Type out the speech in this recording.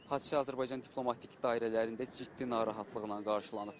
Hadisə Azərbaycan diplomatik dairələrində ciddi narahatlıqla qarşılanıb.